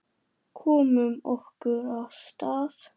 Komum okkur af stað.